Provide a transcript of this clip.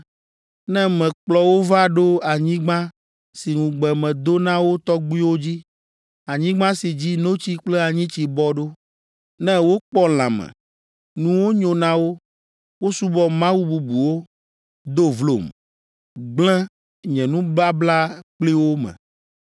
Ne mekplɔ wo va ɖo anyigba si ŋugbe medo na wo tɔgbuiwo dzi, anyigba si dzi ‘notsi kple anyitsi bɔ ɖo,’ ne wokpɔ lãme, nuwo nyo na wo, wosubɔ mawu bubuwo, do vlom, gblẽ nye nubabla kpli wo me,